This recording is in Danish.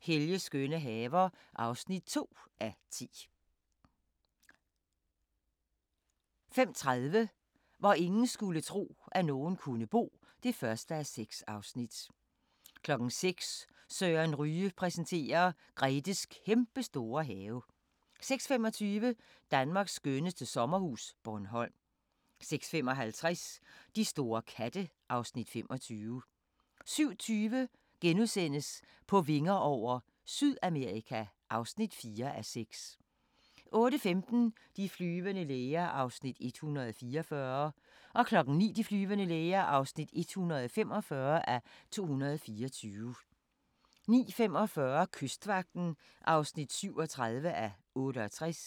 Helges skønne haver (2:10) 05:30: Hvor ingen skulle tro, at nogen kunne bo (1:6) 06:00: Søren Ryge præsenterer: Gretes kæmpestore have 06:25: Danmarks skønneste sommerhus – Bornholm 06:55: De store katte (Afs. 25) 07:20: På vinger over - Sydamerika (4:6)* 08:15: De flyvende læger (144:224) 09:00: De flyvende læger (145:224) 09:45: Kystvagten (37:68)